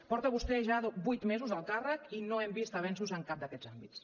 porta vostè ja vuit mesos al càrrec i no hem vist avenços en cap d’aquests àmbits